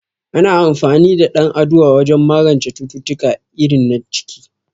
Ana amfani da dan aduwa wajen magance cututtuka irin na ciki